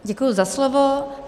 Děkuji za slovo.